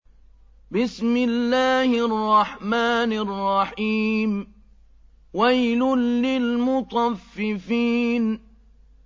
وَيْلٌ لِّلْمُطَفِّفِينَ